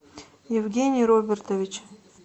евгений робертович